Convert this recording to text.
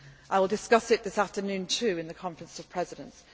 up. I will also discuss it this afternoon at the Conference of Presidents.